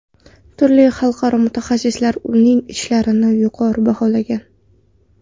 Turli xalqaro mutaxassislar uning ishlarini yuqori baholagan.